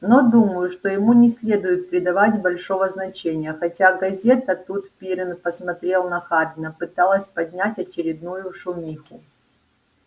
но думаю что ему не следует придавать большего значения хотя газета тут пиренн посмотрел на хардина пыталась поднять очередную шумиху